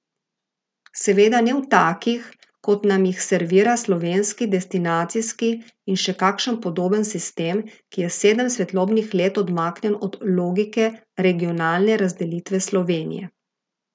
Seveda ne v takih, kot nam jih servira slovenski destinacijski in še kakšen podoben sistem, ki je sedem svetlobnih let odmaknjen od logike regionalne razdelitve Slovenije.